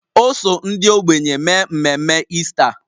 O so ndị ogbenye mee mmemme Ista